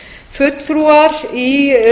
fulltrúar í